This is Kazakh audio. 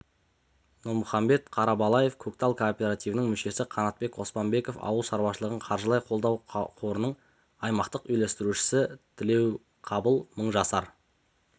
нұрмұхамбет қарабалаев көктал кооперативінің мүшесі қанатбек оспанбеков ауыл шаруашылығын қаржылай қолдау қорының аймақтық үйлестірушісі тілеуқабыл мыңжасар